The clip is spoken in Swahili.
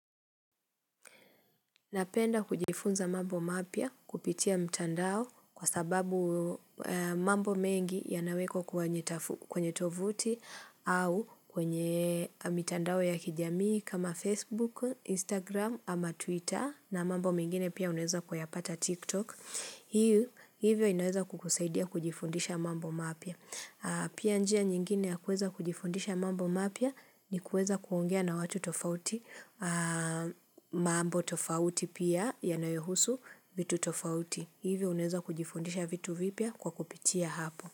Napenda kujifunza mambo mapya kupitia mtandao kwa sababu mambo mengi ya naweko kwenye tovuti au kwenye mtandao ya kijamii kama Facebook, Instagram ama Twitter na mambo mengine pia uneweza kuyapata TikTok. Hii hivyo inaweza kukusaidia kujifundisha mambo mapya. Pia njia nyingine ya kuweza kujifundisha mambo mapya ni kuweza kuongea na watu tofauti mambo tofauti pia yanayohusu vitu tofauti. Hivyo uneza kujifundisha vitu vipya kwa kupitia hapo.